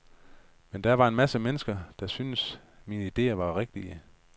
Men der var en masse mennesker, der syntes, mine idéer var rigtige.